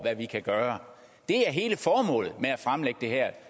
hvad vi kan gøre det er hele formålet med at fremlægge det her